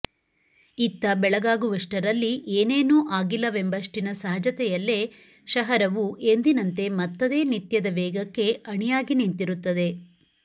ಇತ್ತ ಬೆಳಗಾಗುವಷ್ಟರಲ್ಲಿ ಏನೇನೂ ಆಗಿಲ್ಲವೆಂಬಷ್ಟಿನ ಸಹಜತೆಯಲ್ಲೇ ಶಹರವು ಎಂದಿನಂತೆ ಮತ್ತದೇ ನಿತ್ಯದ ವೇಗಕ್ಕೆ ಅಣಿಯಾಗಿ ನಿಂತಿರುತ್ತದೆ